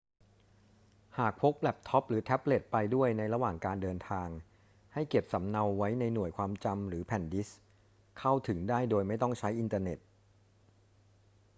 หากพกแล็ปท็อปหรือแท็บเล็ตไปด้วยในระหว่างเดินทาง ให้เก็บสำเนาไว้ในหน่วยความจำหรือแผ่นดิสก์ เข้าถึงได้โดยไม่ต้องใช้อินเทอร์เน็ต